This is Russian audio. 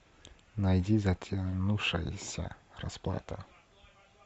найди затянувшаяся расплата